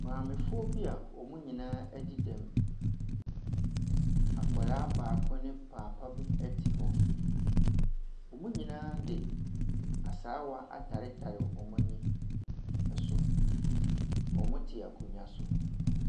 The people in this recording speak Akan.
Mmamefoɔ bi a wɔn nyinaa adi dɛm. Akwadaa ne papa bi te hɔ. Wɔn nyinaa de asaawa atetare wɔn ani so. Wɔte akonnwa so.